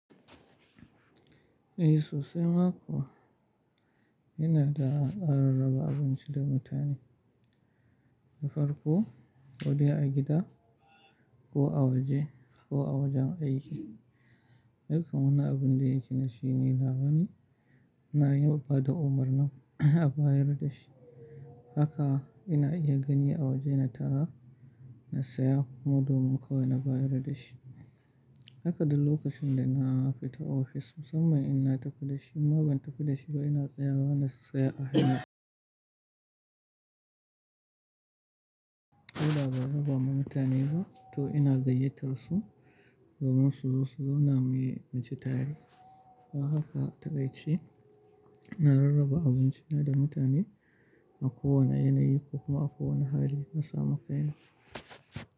Eh sosai ma kuwa. Ina da a rarraba abinci da mutane. Na farko, ko dai a gida ko a waje ko a wajen aiki. Dukkan wannan abun da yake nashi ni labari na yadda bada umarnin a bayar da shi. Haka ina iya gani a waje na tara na saya, madodon kawai na bayar da shi. Haka duk lokacin da na fita ofis musamman in na tafi da shi. Inma ban tafi dashi na ina tsayawa na siya a hanya ko da ba rarraba ma mutane ba to ina gayyatar su domin su zo su zauna mu yi, mu ci tare. To haka takai ce. Ina rarraba abinci na da mutane a kowane yanayi ko kuma a kowane hali na samu kai na.